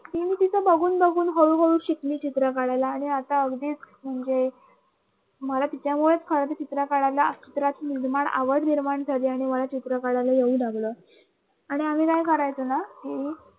बघून बघून हळूहळू शिकली चित्र काढायला आणि आता अगदी म्हणजे मला तिच्यामुळे खर चित्र काढायला चित्रात आवड निर्माण आणि मला चित्र काढायला येऊ लागलं हम्म